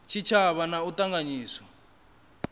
tshitshavha na u a ṱanganyisa